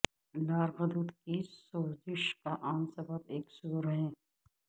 لار غدود کی سوزش کا عام سبب ایک سور ہے